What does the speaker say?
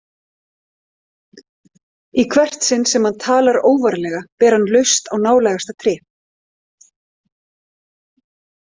Í hvert sinn sem hann talar óvarlega ber hann laust á nálægasta tré.